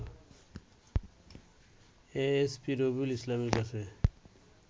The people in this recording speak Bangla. এএসপি রবিউল ইসলামের কাছে